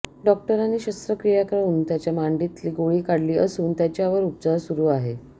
डॉक्टरांनी शस्त्रक्रिया करून त्यांच्या मांडीतील गोळी काढली असून त्यांचावर उपचार सुरु आहेत